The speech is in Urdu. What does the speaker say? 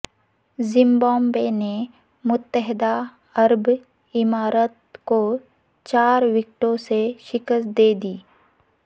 زمبابوے نے متحدہ عرب امارات کو چار وکٹوں سے شکست دے دی